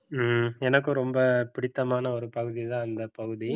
ஹம் எனக்கும் ரொம்ப பிடித்தமான ஒரு பகுதிதான் இந்த பகுதி